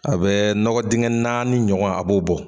A bɛ nɔgɔ dingɛ naani ɲɔgɔn a b'o bɔ.